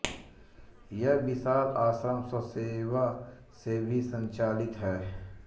यह विशाल आश्रम स्वयंसेवा से ही संचालित है